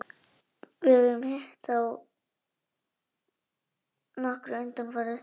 Við höfum hitt á þá nokkra undanfarið.